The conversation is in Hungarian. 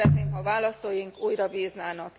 Szeretném, ha választóink újra bíznának.